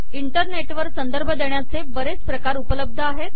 internet वर संदर्भ देण्याचे बरेच प्रकार उपलब्ध आहेत